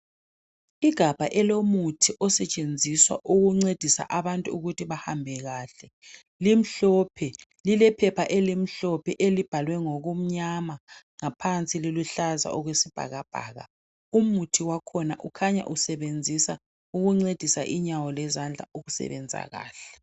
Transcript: Igabha elomuthi osetshenziswa ukuncedisa abantu ukuthi bahambe kahle, limhlophe lilephepha elimhlophe elibhalwe ngokumnyama ngaphansi liluhlaza okwesibhakabhaka umuthi wakhona ukhanya usebenzisa ukuncedisa inyawo lezandla ukusebenza kahle.